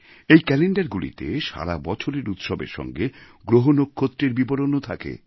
এই ক্যালেণ্ডারগুলিতে সারা বছরের উৎসবের সঙ্গে গ্রহনক্ষত্রের বিবরণও থাকে